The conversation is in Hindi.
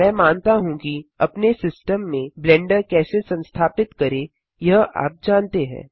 मैं मानता हूँ कि अपने सिस्टम में ब्लेंडर कैसे संस्थापित करें यह आप जानते हैं